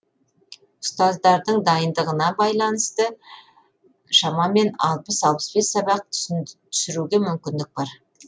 ұстаздардың дайындығына байланысты шамамен алпыс алпыс бес сабақ түсіруге мүмкіндік бар